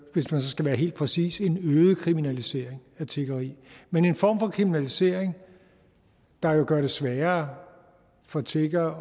hvis man skal være helt præcis en øget kriminalisering af tiggeri men en form for kriminalisering der jo gør det sværere for tiggere